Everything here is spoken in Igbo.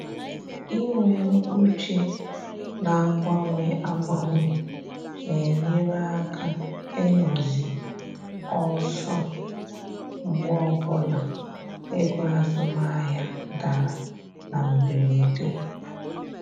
Inwe uche na-agbanwe agbanwe na-enyere aka ịnọ zi ọsọ mgbe ọbụla ego azụmahịa dara na mberede